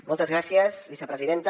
moltes gràcies vicepresidenta